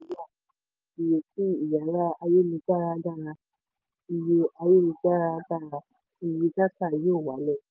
ìrètí ìyára ayélujára dára iye ayélujára dára iye dátà yóò wálẹ̀.